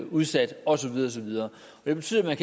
udsat og så videre og så videre det betyder at man